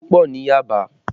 Èso pọ ní Yaba